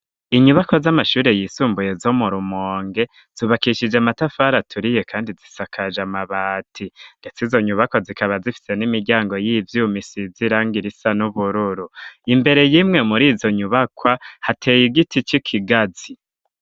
Inyubakwa z'amashuri yisumbuye zo mu rumonge, zubakishije amatafari aturiye kandi zisakaje amabati, ndetse izo nyubakwa zikaba zifise n'imiryango y'ivyumisizirang irisa n'ubururu imbere yimwe muri zo nyubakwa hateye igiti c'ikigazi.